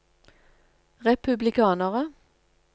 republikanere